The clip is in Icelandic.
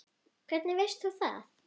Hvernig veist þú það?